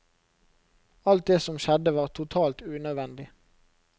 Alt det som skjedde var totalt unødvendig.